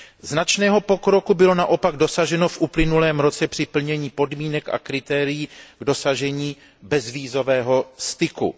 Značného pokroku bylo naopak dosaženo v uplynulém roce při plnění podmínek a kritérií k dosažení bezvízového styku.